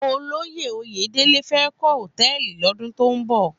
Ólóyé Oyedele fè kò hótèlí lòdún tó n bò